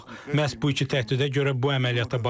Məhz bu iki təhdidə görə bu əməliyyata başladıq.